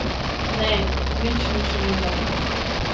Ne, nič ni šumelo.